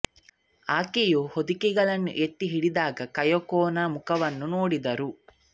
ಆಕೆಯು ಹೊದಿಕೆಗಳನ್ನು ಎತ್ತಿ ಹಿಡಿದಾಗ ಕಯಕೊ ನ ಮುಖವನ್ನು ನೋಡಿದರು